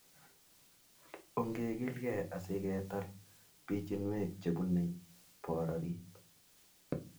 ong'egilgei asiketar pichiinwek chebune bororit